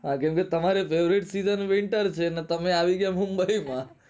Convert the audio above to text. કેમકે તમારે favourite season winter છે તમે આવી ગયા મુંબઈ માં